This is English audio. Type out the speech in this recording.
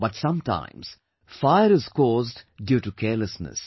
But, sometimes fire is caused due to carelessness